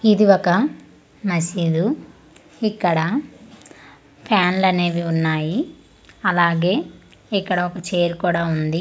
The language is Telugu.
ఇది ఒక మసీదు ఇక్కడ ఫాన్లు అనేవి ఉన్నాయిఅలాగే ఇక్కడ ఒక ఛైర్ కూడ ఉంది.